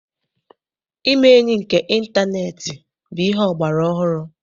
Ime enyi nke ịntaneetị bụ ihe ọgbara ọhụrụ.